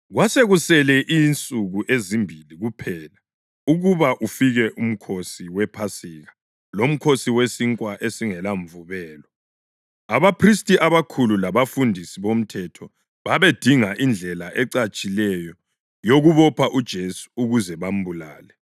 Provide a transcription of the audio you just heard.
Kwasekusele insuku ezimbili kuphela ukuba ufike uMkhosi wePhasika loMkhosi weSinkwa esingelaMvubelo. Abaphristi abakhulu labafundisi bomthetho babedinga indlela ecatshileyo yokubopha uJesu ukuze bambulale.